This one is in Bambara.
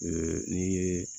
n'i ye